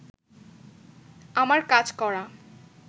আমার কাজ করা